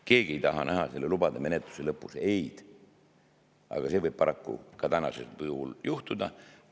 Keegi ei taha näha lubade menetluse lõpus sõna "ei", aga see võib paraku praeguse menetluse puhul juhtuda.